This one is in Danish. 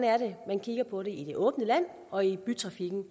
man kigger på det i det åbne land og i bytrafikken